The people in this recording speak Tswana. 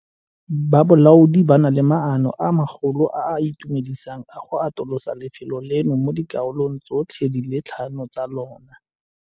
Ba bolaodi ba na le maano a magolo a a itumedisang a go atolosa lefelo leno mo dikarolong tsotlhe di le tlhano tsa lona.